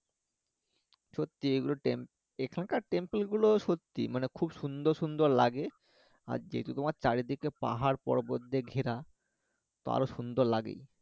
সত্যি এগুলো এখানকার টেম্পেল গুলো সত্যি মানে খুব সুন্দর সুন্দর লাগে আর যেহেতু তোমার চারিদিকে পাহাড় পর্বত দিয়ে ঘেরা তো আরো সুন্দর লাগে